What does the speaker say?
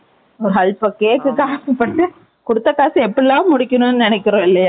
அல்பம், cake க்கு ஆசைப்பட்டு, குடுத்த காசை, எப்படியெல்லாம் முடிக்கணும்ன்னு, நினைக்கிறோம், இல்லையா?